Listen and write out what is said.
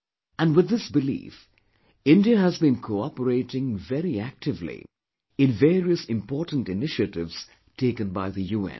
And with this belief, India has been cooperating very actively in various important initiatives taken by the UN